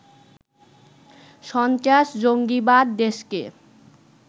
সস্ত্রাস-জঙ্গিবাদ দেশকে